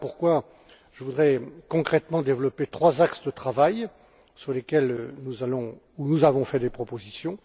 Voilà pourquoi je voudrais concrètement développer trois axes de travail, sur lesquels nous avons fait des propositions.